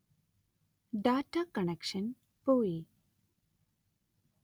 data connection പോയി